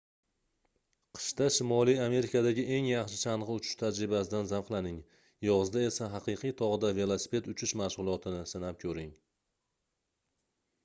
qishda shimoliy amerikadagi eng yaxshi changʻi uchish tajribasidan zavqlaning yozda esa haqiqiy togʻda velosiped uchish mashgʻulotini sinab koʻring